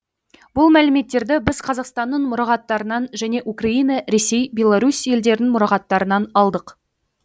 бұл мәліметтерді біз қазақстанның мұрағаттарынан және украина ресей беларусь елдерінің мұрағаттарынан алдық